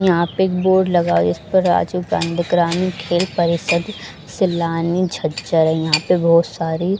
यहां पे एक बोर्ड लगा है जिस पर राजीव गांधी ग्रामीण खेल परिषद सैलानी झज्जर है यहां पे बहोत सारी --